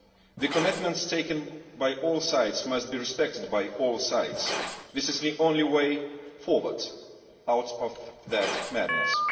The commitments made by all sides must be respected by all sides. This is the only way forward out of the madness.